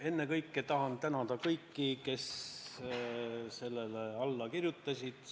Ennekõike tahan tänada kõiki, kes sellele arupärimisele alla kirjutasid!